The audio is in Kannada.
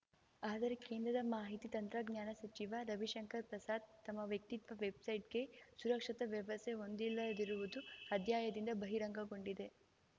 ಆದರೆ ಕೇಂದ್ರದ ಮಾಹಿತಿ ತಂತ್ರಜ್ಞಾನ ಸಚಿವ ರವಿಶಂಕರ್ ಪ್ರಸಾದ್ ತಮ್ಮ ವ್ಯಕ್ತಿತ್ವ ವೆಬ್‌ಸೈಟ್‌ಗೆ ಸುರಕ್ಷತಾ ವ್ಯವಸ್ಥೆ ಹೊಂದಿಲ್ಲದಿರುವುದು ಅಧ್ಯಯದಿಂದ ಬಹಿರಂಗಗೊಂಡಿದೆ